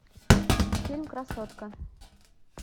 фильм красотка